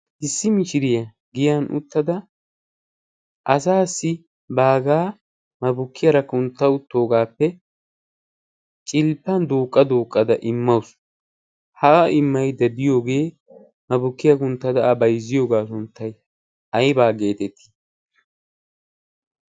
issi mishiriyaa giyan uttada asaassi baagaa mabukkiyaara kunttauttoogaappe cilppan dooqqa dooqqada immawusu. ha immai dediyoogee mabukkiyaa kunttada a baizziyoogaa sunttai aibaa geetettii?